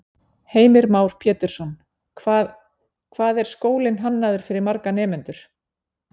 Heimir Már Pétursson: Hvað, hvað er skólinn hannaður fyrir marga nemendur?